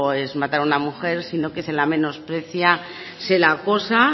es matar a una mujer sino que se la menosprecia se la acosa